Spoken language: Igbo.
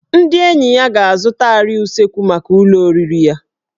Ndị enyi ya ga-azụta arịa usekwu maka ụlọ oriri ya